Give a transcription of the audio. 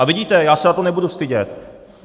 A vidíte, já se za to nebudu stydět.